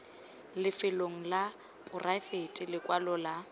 lefelong la poraefete lekwalo la